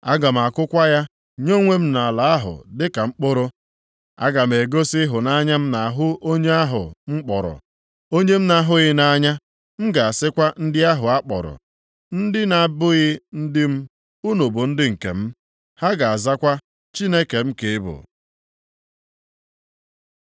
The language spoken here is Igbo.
Aga m akụkwa ya nye onwe m nʼala ahụ dịka mkpụrụ. Aga m egosi ịhụnanya m nʼahụ onye ahụ m kpọrọ, ‘Onye m na-ahụghị nʼanya.’ + 2:23 Enwekwa obi ebere nʼahụ Lo-Ruhama, M ga-asịkwa ndị ahụ a kpọrọ, ‘Ndị na-abụghị ndị m, + 2:23 Ya bụ, Lo-ammi,’ ‘Unu bụ ndị nke m,’ Ha ga-azakwa, ‘Chineke m ka ị bụ.’ ”